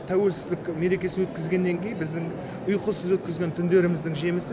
тәуелсіздік мерекесін өткізгеннен кейін біздің ұйқысыз өткізген түндеріміздің жемісі